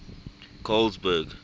colesberg